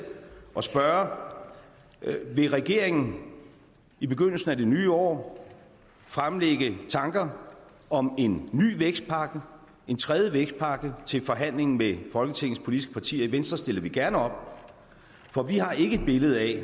og spørge vil regeringen i begyndelsen af det nye år fremlægge tanker om en ny vækstpakke en tredje vækstpakke til forhandling med folketingets politiske partier i venstre stiller vi gerne op for vi har ikke et billede